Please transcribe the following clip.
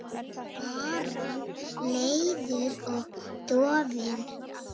Bara leiður og dofinn.